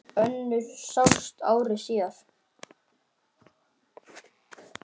Önnur sást ári síðar.